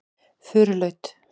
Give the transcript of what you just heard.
Furulaut